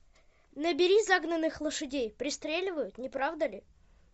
набери загнанных лошадей пристреливают не правда ли